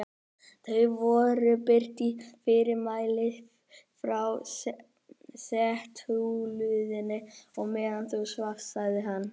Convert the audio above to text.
Það voru birt fyrirmæli frá setuliðinu á meðan þú svafst sagði hann.